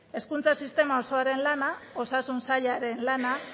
hezkuntza sistema osoaren lana osasun sailaren lana